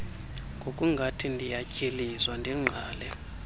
ngokungathi ndiyatyhilizwa ndingqale